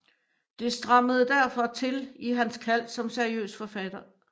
Det strammede derfor til i hans kald som seriøs forfatter